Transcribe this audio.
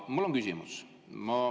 Mul on küsimus.